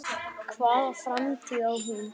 Hvaða framtíð á hún?